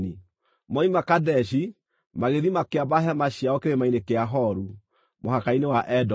Moima Kadeshi, magĩthiĩ makĩamba hema ciao Kĩrĩma-inĩ kĩa Horu, mũhaka-inĩ wa Edomu.